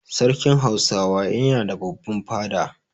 Sarkin Hausawa yana da babban fada.